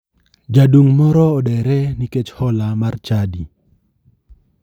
Jadung' moro odere nikech hola mar chadi.